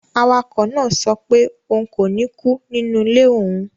Awakọ̀ náà sọ pé òun kò ní kú nínú ilé òun